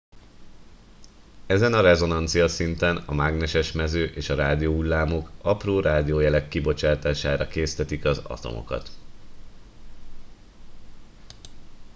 ezen a rezonanciaszinten a mágneses mező és a rádióhullámok apró rádiójelek kibocsátására késztetik az atomokat